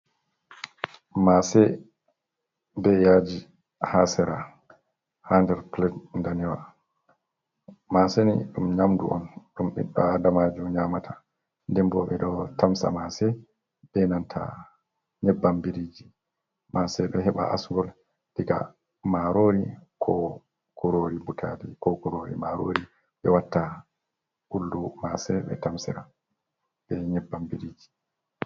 Mase be yaji ha sera ha nder plet danewa, maseni dum nyamɗu on dum biɗɗo adamajo nyamata, dembo ɓe ɗo tamsa mase ɓe nanta nyeɓɓam biriji ,mase do heɓa asgol diga marori ko kurori butali ko kurori marori ɓe watta kullu mase ɓe tamsira be nyeɓɓam biriji.